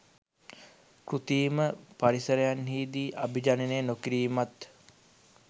කෘතිම පරිසරන්හිදී අභිජනනය නොකිරීමත්